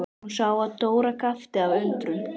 Hún sá að Dóra gapti af undrun.